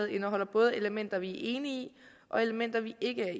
indeholder både elementer vi er enige i og elementer vi ikke er